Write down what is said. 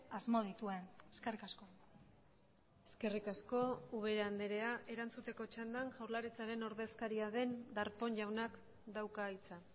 asmo dituen eskerrik asko eskerrik asko ubera andrea erantzuteko txandan jaurlaritzaren ordezkaria den darpón jaunak dauka hitza